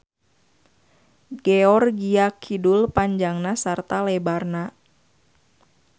Georgia Kidul panjangna sarta lebarna.